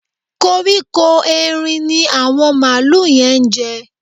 Kóríkó Erin ni àwọn màlúù yẹn ń jẹ